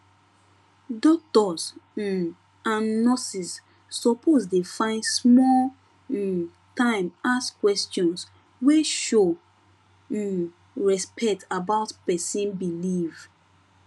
doctors um and nurses suppose dey find small um time ask questions wey show um respect about person belief